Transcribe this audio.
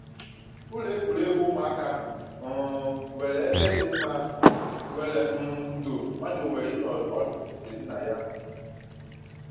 Ụlọ egwuregwu ụmụaka ahụ um nwere ebe dị mma nwere um ndo mmadụ nwere ịnọ ọdụ ezi na ya